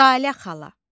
Jalə xala.